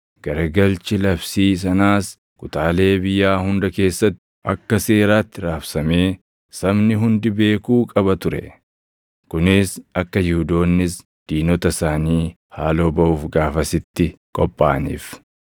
Garagalchi labsii sanaas kutaalee biyyaa hunda keessatti akka seeraatti raabsamee sabni hundi beekuu qaba ture; kunis akka Yihuudoonnis diinota isaanii haaloo baʼuuf gaafasitti qophaaʼaniif.